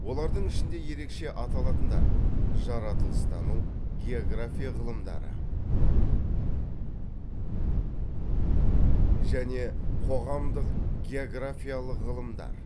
олардың ішінде ерекше аталатындар жаратылыстану география ғылымдары және қоғамдық географиялық ғылымдар